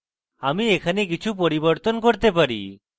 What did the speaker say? আমি এখানে কিছু পরিবর্তন করতে পারি